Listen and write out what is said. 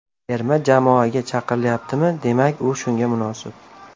Terma jamoaga chaqirilyaptimi, demak, u shunga munosib.